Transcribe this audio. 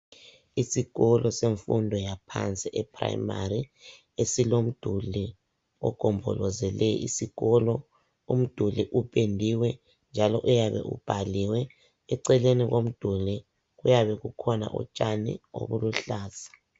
Isikolo semfundo yaphansi ePrimary, esilomduli ogombolozele isikolo. Umduli upendiwe njalo uyabe ubhaliwe. Eceleni komduli kuyabe kukhona utshani eluhlaza.